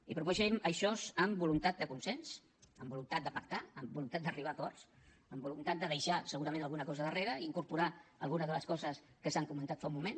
i proposem això amb voluntat de consens amb voluntat de pactar amb voluntat d’arribar a acords amb voluntat de deixar segurament alguna cosa darrere i incorporar alguna de les coses que s’han comentat fa un moment